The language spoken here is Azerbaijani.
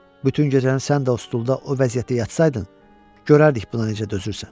Bütün gecəni sən də o stulda o vəziyyətdə yatsaydın, görərdik buna necə dözürsən.